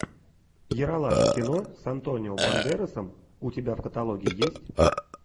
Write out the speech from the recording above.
ералаш кино с антонио бандерасом у тебя в каталоге есть